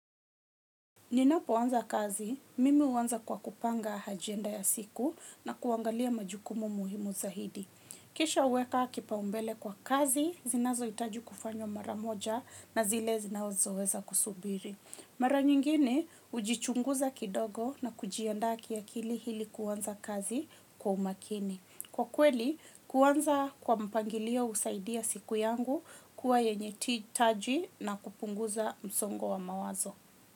Ninapoanza kazi, mimi huanza kwa kupanga ajenda ya siku na kuangalia majukumu muhimu zaidi. Kisha huweka kipaumbele kwa kazi, zinazohitaji kufanywa mara moja na zile zinazoweza kusubiri. Mara nyingine, hujichunguza kidogo na kujiandaa kiakili ili kuanza kazi kwa umakini. Kwa kweli, kuanza kwa mpangilio husaidia siku yangu kuwa yenye taji na kupunguza msongo wa mawazo.